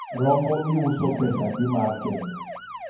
rombo iuso pesadi mar kenya?